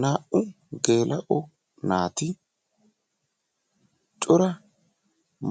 Naa"u geella"o naati cora